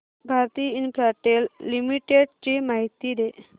Bharti Infratel Limited ची माहिती दे